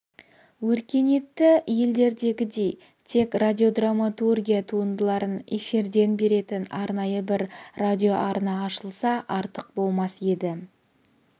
өркениетті елдердегідей тек радиодраматургия туындыларын эфирден беретін арнайы бір радиоарна ашылса артық болмас еді